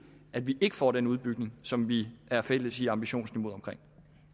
at vi ikke får den udbygning som vi er fælles i ambitionsniveauet omkring